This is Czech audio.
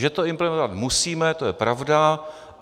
Že to implementovat musíme, to je pravda.